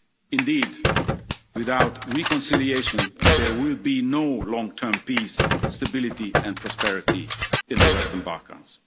Indeed, without reconciliation there will be no long term peace, stability and prosperity in the Western Balkans.